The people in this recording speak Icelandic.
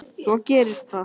Svo gerist það.